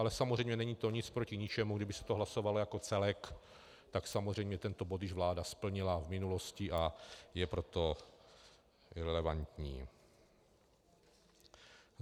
Ale samozřejmě není to nic proti ničemu, kdyby se to hlasovalo jako celek, tak samozřejmě tento bod již vláda splnila v minulosti, a je proto irelevantní.